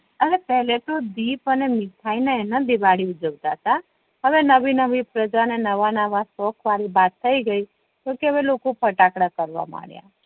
અને પેહલે તો દીપ અને મીઠાય ને એને દિવાળી ઉજવતા હતા હવે નવી નવી પ્રજા ને નવા નવા શોખ થઈ ગઈ જો કે લોકો ફટાકડા કરવા લાગ્યા